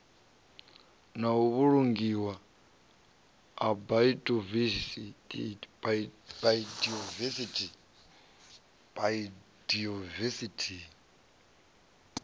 na u vhulungiwa ha biodivesithi